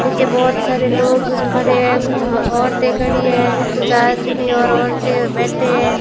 पीछे बहोत सारे लोग खड़े है कुछ औरतें खड़ी है कुछ आदमी और औरतें बैठे है।